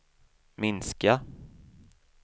minska